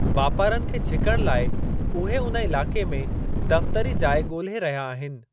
वापारनि खे छिकणु लाइ उहे उन इलाक़े में दफ़तरी जाइ ॻोल्हे रहिया आहिनि।